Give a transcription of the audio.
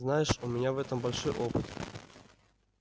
знаешь у меня в этом большой опыт